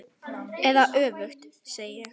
Eða öfugt, segi ég.